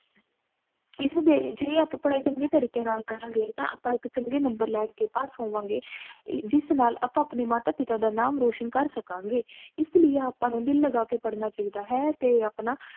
ਇਸ ਲਈ ਜੇ ਆਪਾ ਪੜ੍ਹਾਈ ਚੰਗੇ ਤਰੀਕੇ ਨਾਲ ਕਰਾਂਗੇ ਤਾਹ ਆਪਾ ਇਕ ਚੰਗੇ ਨੰਬਰ ਲੈ ਕੇ ਪਾਸ ਹੋਵਾਂਗੇ ਜਿਸ ਨਾਲ ਆਪਾ ਅਪਣੇ ਮਾਤਾ ਪਿਤਾ ਦਾ ਨਾਮ ਰੋਸ਼ਨ ਕਰ ਸਕਾਂਗੇ ਇਸ ਲਈ ਆਪਾ ਨੂੰ ਦਿਲ ਲਗਾ ਕ ਪਢ਼ਣਾ ਚਾਹੀਦਾ ਹੈ ਤੇ ਅਪਣਾ